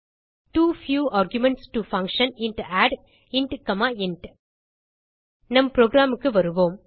to few arguments to function int add int int நம் programக்கு வருவோம்